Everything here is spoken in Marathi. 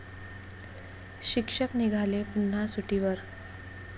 शिक्षक निघाले पुन्हा सुट्टीवर!